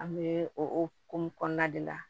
An bɛ o o hokumu kɔnɔna de la